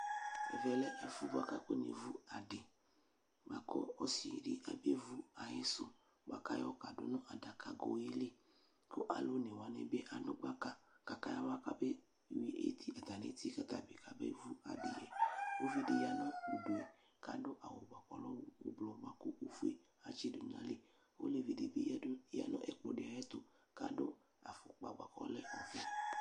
Ɛvɛ lɛ ɛfʋ yɛ bua k'akɔnevu adi kʋ osividi abevu ayidu bua k'ayɔ kadʋ nʋ adakago yɛ li, kʋ alʋ onewani bi adʋgbaka k'akayawa kabe yui iti, atami iti k'atabi kamevu adi yɛ Uvidi ya nʋ udu yɛ k'adʋ awʋ k'ʋlɔ ʋblʋ, bua kʋ ofue atsidʋ nayili Olevi dini ya nʋ ɛkplɔdi ayɛtʋ k'adʋ afʋkpa bua k'ɔlɛ ofue